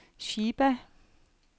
Chiba